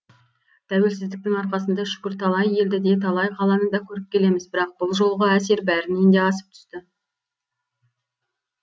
тәуелсіздіктің арқасында шүкір талай елді де талай қаланы да көріп келеміз бірақ бұл жолғы әсер бәрінен де асып түсті